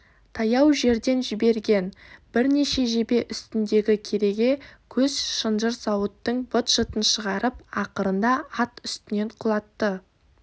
таяу жерден жіберген бірнеше жебе үстіндегі кереге көз шынжыр сауыттың быт-шытын шығарып ақырында ат үстінен құлатты